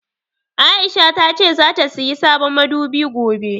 Aisha tace zata sayi sabon madubi gobe.